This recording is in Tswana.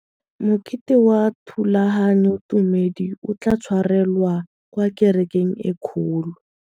Mokete wa thulaganyôtumêdi o tla tshwarelwa kwa kerekeng e kgolo.